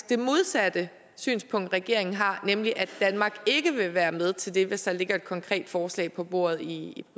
det modsatte synspunkt regeringen har nemlig at danmark ikke vil være med til det hvis der ligger et konkret forslag på bordet i